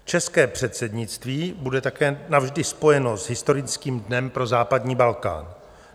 České předsednictví bude také navždy spojeno s historickým dnem pro západní Balkán.